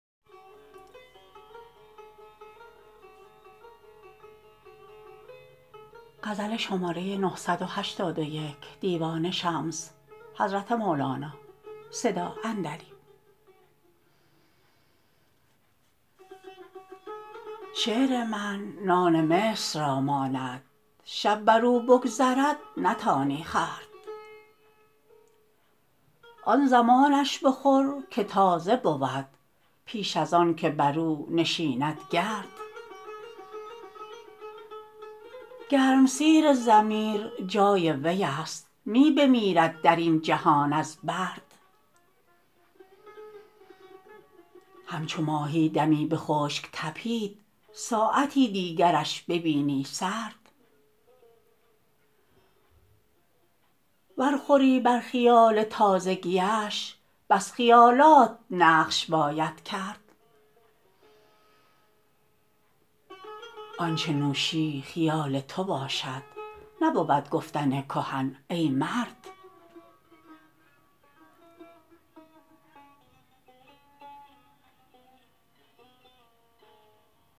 شعر من نان مصر را ماند شب بر او بگذرد نتانی خورد آن زمانش بخور که تازه بود پیش از آنکه بر او نشیند گرد گرمسیر ضمیر جای وی است می بمیرد در این جهان از برد همچو ماهی دمی به خشک تپید ساعتی دیگرش ببینی سرد ور خوری بر خیال تازگی اش بس خیالات نقش باید کرد آنچ نوشی خیال تو باشد نبود گفتن کهن ای مرد